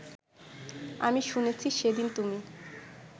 আমি শুনেছি সেদিন তুমি